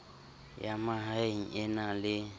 ya mahaeng e na le